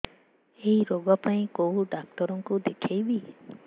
ଏଇ ରୋଗ ପାଇଁ କଉ ଡ଼ାକ୍ତର ଙ୍କୁ ଦେଖେଇବି